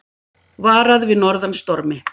Varað við norðan stormi